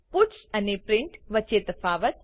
puts અને print વચ્ચે તફાવત